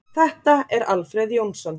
Þetta er Alfreð Jónsson.